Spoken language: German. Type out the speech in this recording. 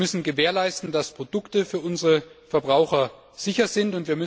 Wir müssen gewährleisten, dass Produkte für unsere Verbraucher sicher sind.